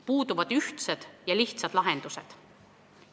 Puuduvad ühtsed ja lihtsad lahendused.